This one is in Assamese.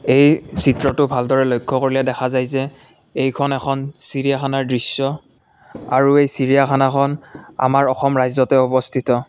এই চিত্ৰতো ভালদৰে লক্ষ্য কৰিলে দেখা যায় যে এইখন এখন চিৰিয়াখানাৰ দৃশ্য আৰু এই চিৰিয়াখানাখন আমাৰ অসম ৰাজ্যতে অৱস্থিত।